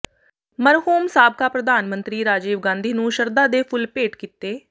ਮਰਹੂਮ ਸਾਬਕਾ ਪ੍ਰਧਾਨ ਮੰਤਰੀ ਰਾਜੀਵ ਗਾਂਧੀ ਨੂੰ ਸ਼ਰਧਾ ਦੇ ਫੁੱਲ ਭੇਟ ਕੀਤੇ